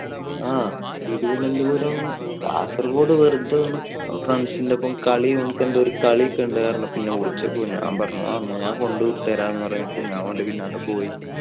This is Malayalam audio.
ആ തിരുവനന്തപുരം കാസർഗോഡ് വെറുതെ ഒന്ന് friends ന്റെ ഒപ്പം അവർക്ക് എന്തോ കളി ഒക്കെ ഉണ്ടായിരുന്നു. അപ്പൊ വിളിച്ചപ്പോ ആ ഞാൻ കൊണ്ടവിട്ടുതരാം എന്ന് പറഞ്ഞപ്പോൾ ഞാൻ ഓന്റെ പിന്നാലെ പോയി.